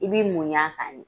I b'i muɲu a kan de.